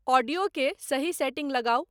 audio के सही setting लगाऊं